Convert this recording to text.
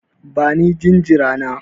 Bani jinjira na!